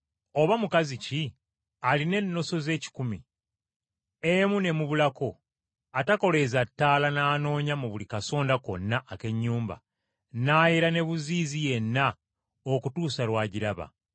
“Oba mukazi ki alina ennoso ze kkumi, emu n’emubulako, atakoleeza ttaala n’anoonya mu buli kasonda konna ak’ennyumba, n’ayera n’ebuziizi yenna okutuusa lw’agiraba?